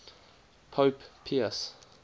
pope pius